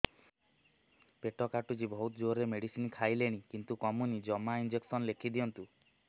ପେଟ କାଟୁଛି ବହୁତ ଜୋରରେ ମେଡିସିନ ଖାଇଲିଣି କିନ୍ତୁ କମୁନି ଜମା ଇଂଜେକସନ ଲେଖିଦିଅନ୍ତୁ